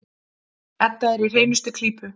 Edda er í hreinustu klípu.